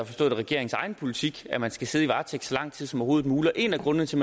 forstået det regeringens egen politik at man skal sidde i varetægt så lang tid som overhovedet muligt en af grundene til